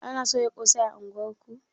Ana soya ƙosai a unguwar ku?